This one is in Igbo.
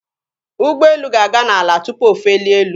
Ụgbọelu ga-aga n'ala tụpụ o felie elu.